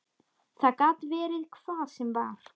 Það gat verið hvað sem var.